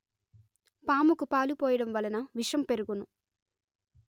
పాముకు పాలు పోయడం వలన విషం పెరుగును